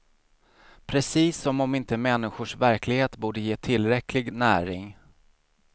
Precis som om inte människors verklighet borde ge tillräcklig näring.